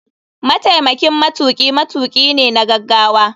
Mataimakin matuki matuki ne na gagawa.